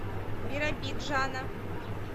биробиджана